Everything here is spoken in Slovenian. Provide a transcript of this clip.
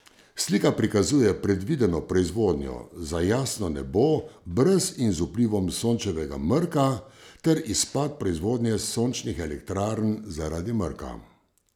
Slika prikazuje predvideno proizvodnjo za jasno nebo brez in z vplivom Sončevega mrka ter izpad proizvodnje sončnih elektrarn zaradi mrka.